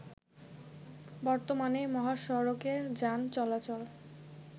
বর্তমানে মহাসড়কে যান চলাচল